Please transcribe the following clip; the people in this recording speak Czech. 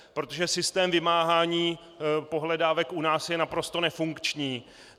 Protože systém vymáhání pohledávek je u nás naprosto nefunkční.